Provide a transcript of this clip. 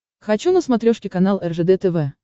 хочу на смотрешке канал ржд тв